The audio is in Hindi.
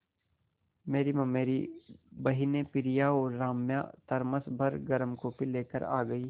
मेरी ममेरी बहिनें प्रिया और राम्या थरमस भर गर्म कॉफ़ी लेकर आ गईं